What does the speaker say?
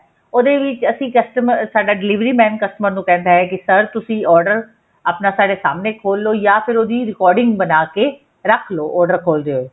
ਉਹਦੇ ਵਿੱਚ ਅਸੀਂ customer ਸਾਡਾ delivery man customer ਨੂੰ ਕਹਿੰਦਾ ਹੈ ਕੀ sir ਤੁਸੀਂ order ਆਪਣਾ ਸਾਡੇ ਸਾਹਮਣੇ ਖੋਲਲੋ ਜਾਂ ਫ਼ਿਰ ਉਹਦੀ recording ਬਣਾਕੇ ਰੱਖ ਲੋ order ਖੋਲਦੇ ਹੋਏ